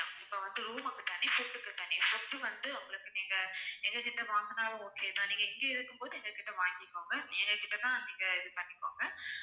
இப்ப வந்து room க்கு தனி food க்கு தனி food வந்து உங்களுக்கு நீங்க எங்க கிட்ட வாங்கினாலும் okay தான் நீங்க இங்க இருக்கும்போது எங்ககிட்ட வாங்கிக்கோங்க எங்ககிட்ட தான் நீங்க இது பண்ணிக்கோங்க